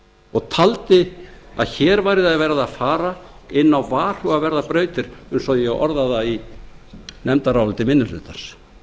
og taldi að hér væri verið að fara inn á varhugaverðar brautir eins og ég orðaði það í nefndaráliti minni hlutans